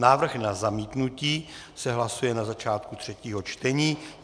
Návrh na zamítnutí se hlasuje na začátku třetího čtení.